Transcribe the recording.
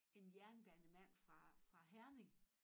En jernbanemand fra fra Herning